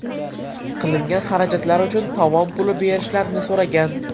Qilingan xarajatlar uchun tovon puli berishlarini so‘ragan.